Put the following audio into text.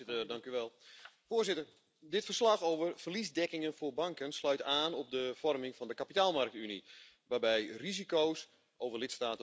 Voorzitter, dit verslag over verliesdekkingen voor banken sluit aan op de vorming van de kapitaalmarktunie waarbij risico's over lidstaten worden verspreid.